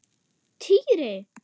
Týri!